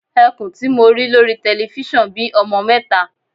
Ẹkùn tí mo rí lórí telifísàn bí ọmọ mẹta.